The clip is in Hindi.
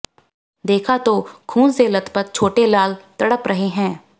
देखा तो खून से लतपथ छोटेलाल तड़प रहे हैं